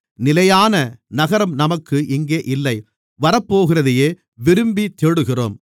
நிலையான நகரம் நமக்கு இங்கே இல்லை வரப்போகிறதையே விரும்பித்தேடுகிறோம்